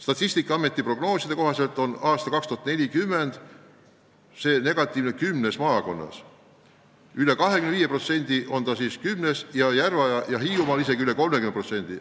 Statistikaameti prognooside kohaselt on aastaks 2040 rahvaarv vähenenud kümnes maakonnas üle 25%, Järva- ja Hiiumaal isegi üle 30%.